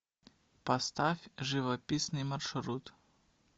поставь живописный маршрут